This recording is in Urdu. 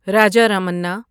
راجا رماننا